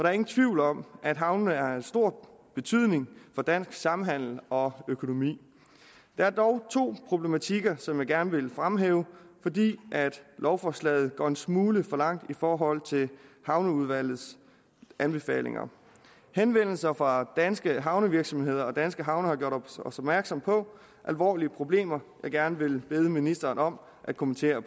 er ingen tvivl om at havnene er af stor betydning for dansk samhandel og økonomi der er dog to problematikker som jeg gerne vil fremhæve fordi lovforslaget går en smule for langt i forhold til havneudvalgets anbefalinger henvendelser fra danske havnevirksomheder og danske havne har gjort os opmærksom på alvorlige problemer jeg gerne vil bede ministeren om at kommentere